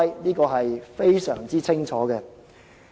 這點非常清楚。